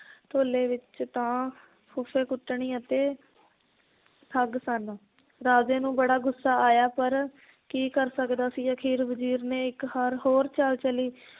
ਢੋਲੇ ਵਿਚ ਤਾਂ ਫੁੱਫੇ ਕੁੱਟਣੀ ਅਤੇ ਠੱਗ ਸਨ ਰਾਜੇ ਨੂੰ ਬੜਾ ਗੁੱਸਾ ਆਇਆ ਪਰ ਕੀ ਕਰ ਸਕਦਾ ਸੀ, ਅਖੀਰ ਵਜ਼ੀਰ ਨੇ ਇੱਕ ਹਾਰ ਹੋਰ ਚਾਲ ਚੱਲੀ